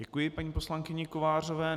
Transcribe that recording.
Děkuji paní poslankyni Kovářové.